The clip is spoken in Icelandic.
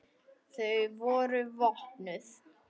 Þau voru vopnuð.